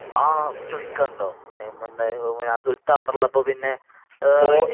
ആ ചോയിക്കാനുണ്ടോ നെയ്മറിന്റെ സുൽത്താൻ അവിടെ ഉള്ളപ്പോ തന്നെ